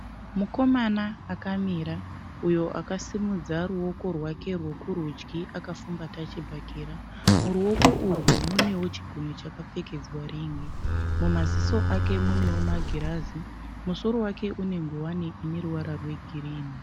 Mukomana akamira uyo akasimudza ruoko rwake rwekurudyi akafumbata chibhakera. Muruoko urwu munewo chigunwe chakapfekedzwa rin'i. Mumaziso ake munewo magirazi. Musoro wake une ngowani ine ruvara rwegirinhi.